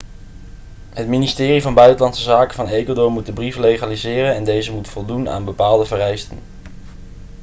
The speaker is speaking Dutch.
het ministerie van buitenlandse zaken van ecuador moet de brief legaliseren en deze moet voldoen aan bepaalde vereisten